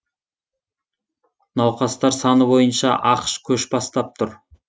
науқастар саны бойынша ақш көш бастап тұр